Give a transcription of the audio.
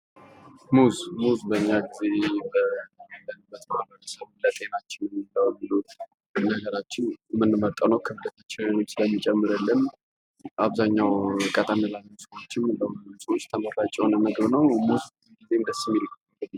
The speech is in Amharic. ሙዝ በኛ ጊዜ ባለንበት ማህበረሰብ ለጤናችን የምንመልጠው ነው ክብደት ስለሚጨመርልን አብዛኛው ጊዜ ቀጠን ላሉ ሰዎችን በጣም ተመራጭ የሆነ ምግብ ነው ።